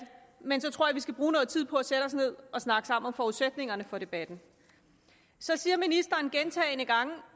men så tror jeg vi skal bruge noget tid på at sætte os ned og snakke sammen om forudsætningerne for debatten så sagde ministeren gentagne gange